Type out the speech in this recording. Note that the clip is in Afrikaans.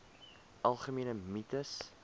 algemene mites